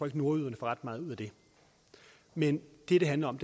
at nordjyderne får ret meget ud af det men det det handler om